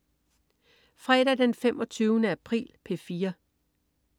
Fredag den 25. april - P4: